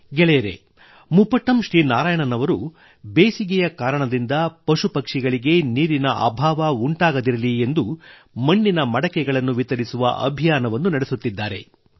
ಸಂಗಾತಿಗಳೇ ಮುಪಟ್ಟಮ್ ಶ್ರೀ ನಾರಾಯಣನ್ ಅವರು ಬೇಸಿಗೆಯ ಕಾರಣದಿಂದ ಪಶುಪಕ್ಷಿಗಳಿಗೆ ನೀರಿನ ಅಭಾವ ಉಂಟಾಗದಿರಲಿ ಎಂದು ಮಣ್ಣಿನ ಮಡಕೆ ವಿತರಿಸುವ ಅಭಿಯಾನವನ್ನು ನಡೆಸುತ್ತಿದ್ದಾರೆ